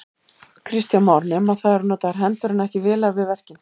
Kristján Már: Nema það eru notaðar hendur en ekki vélar við verkin?